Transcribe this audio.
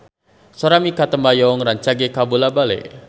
Sora Mikha Tambayong rancage kabula-bale